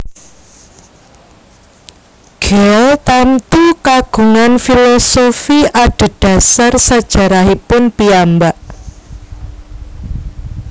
Guel tamtu kagungan filosofi adhedhasar sajarahipun piyambak